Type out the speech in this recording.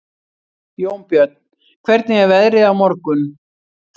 Jónbjörn, hvernig er veðrið á morgun?